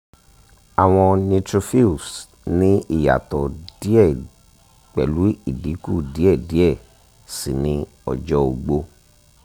awọn neutrophils ni iyatọ diẹ pẹlu idinku diẹ diẹ sii ni ọjọ ogbo